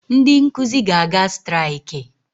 Ndị nkụzi ga-aga striakị